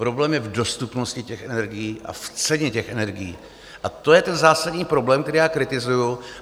Problém je v dostupnosti těch energií a v ceně těch energií a to je ten zásadní problém, který já kritizuju.